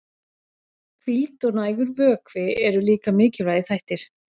Hvíld og nægur vökvi eru líka mikilvægir þættir.